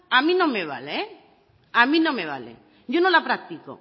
a mí no me vale a mí no me vale yo no la practico